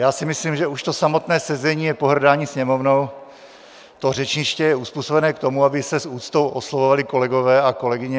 Já si myslím, že už to samotné sezení je pohrdání Sněmovnou, to řečniště je uzpůsobeno k tomu, aby se s úctou oslovovali kolegové a kolegyně.